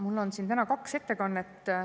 Mul on siin täna kaks ettekannet.